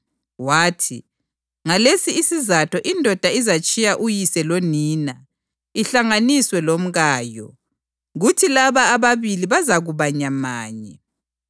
wathi, ‘Ngalesi isizatho indoda izatshiya uyise lonina ihlanganiswe lomkayo, kuthi laba ababili bazakuba nyamanye?’ + 19.5 UGenesisi 2.24